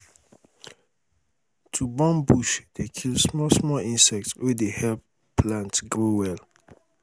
to burn bush dey kill small small insect wey dey help plants grow well